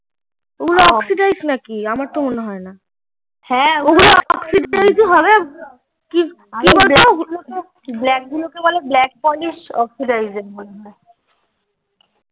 ঐগুলো অক্সিসিডাইস নাকি আমার তো মনে হয় না ব্যাগগুলো কে বলে অক্সিসিডাইস মনে হয়